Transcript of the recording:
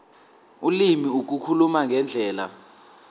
ulimi ukukhuluma ngendlela